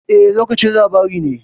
E, lokacin labarai ne.